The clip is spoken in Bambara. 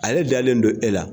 Ale dalen don e la .